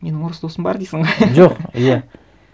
менің орыс досым бар дейсің ғой жоқ иә